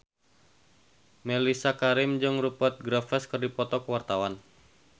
Mellisa Karim jeung Rupert Graves keur dipoto ku wartawan